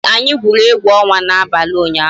Ee, anyị gwuru egwu ọnwa n'abalị ụnyaahụ